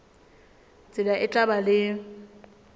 tsela e tla ba le